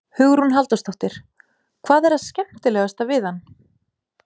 Hugrún Halldórsdóttir: Hvað er það skemmtilegasta við hann?